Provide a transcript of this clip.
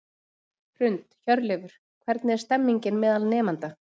Hrund: Hjörleifur, hvernig er stemningin meðal nemenda?